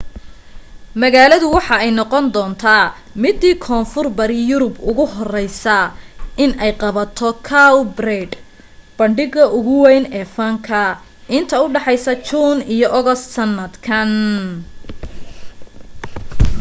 magalada waxa ay noqon doonta midii koonfur bari yurub ugu horeyse in ay qabato cowparade bandhiga ugu weyn ee fanka inta udhaxeysa june iyo august sanadkan